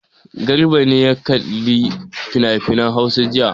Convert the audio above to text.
Garbati ne ya kalli finafinan Hausa jiya.